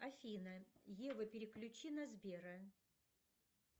афина ева переключи на сбера